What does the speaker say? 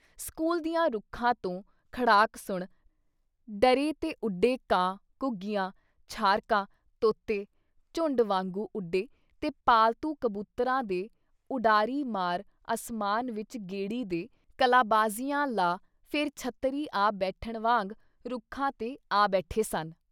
School ਦਿਆਂ ਰੁੱਖਾਂ ਤੋਂ ਖੜਾਕ ਸੁਣ ਡਰੇ ਤੇ ਉਡੇ ਕਾਂ, ਘੁੱਗੀਆਂ, ਛਾਰਕਾਂ, ਤੋਤੇ, ਝੁੰਡ ਵਾਂਗੂ ਉਡੇ ਤੇ ਪਾਲਤੂ ਕਬੂਤਰਾਂ ਦੇ ਉਡਾਰੀ ਮਾਰ ਅਸਮਾਨ ਵਿੱਚ ਗੇੜੀ ਦੇ, ਕਲਾਬਾਜ਼ੀਆਂ ਲਾ ਫਿਰ ਛੱਤਰੀ ਆ ਬੈਠਣ ਵਾਂਗ ਰੁੱਖਾਂ 'ਤੇ ਆ ਬੈਠੇ ਸਨ।